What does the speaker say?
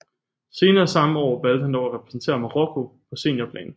Senere samme år valgte han dog at repræsentere Marokko på seniorplan